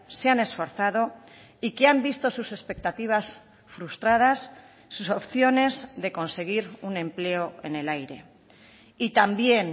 se han esforzado y que han visto sus expectativas frustradas sus opciones de conseguir un empleo en el aire y también